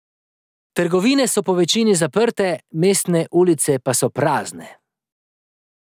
Trgovine so po večini zaprte, mestne ulice pa so prazne.